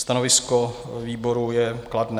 Stanovisko výboru je kladné.